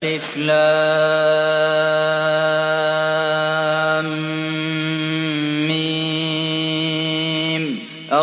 الم